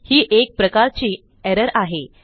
ही एक प्रकारची एरर आहे